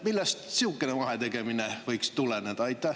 Millest sihukene vahetegemine võiks tuleneda?